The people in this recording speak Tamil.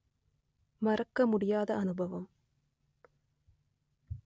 மறக்க முடியாத அனுபவம்